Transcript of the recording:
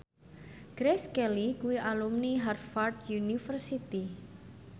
Grace Kelly kuwi alumni Harvard university